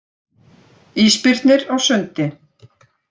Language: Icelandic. Ísbirnir á sundi.